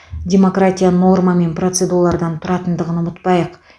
демократия норма мен процедуралардан тұратындығын ұмытпайық